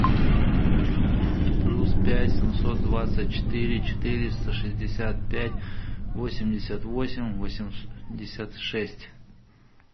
плюс пять семьсот двадцать четыре четыреста шестьдесят пять восемьдесят восемь восемьдесят шесть